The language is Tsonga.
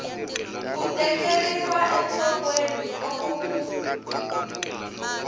ku tekeriwa enhlokweni loko ku